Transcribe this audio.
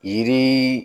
Yiri